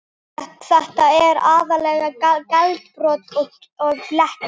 Þetta er aðallega glerbrot og blettir.